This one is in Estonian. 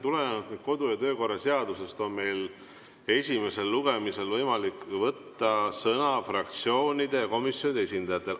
Tulenevalt kodu‑ ja töökorra seadusest on meil esimesel lugemisel võimalik võtta sõna fraktsioonide ja komisjonide esindajatel.